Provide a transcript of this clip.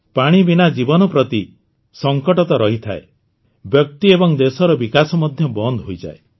ପାଣି ବିନା ଜୀବନ ପ୍ରତି ସଂକଟ ତ ରହିଥାଏ ବ୍ୟକ୍ତି ଏବଂ ଦେଶର ବିକାଶ ମଧ୍ୟ ବନ୍ଦ ହୋଇଯାଏ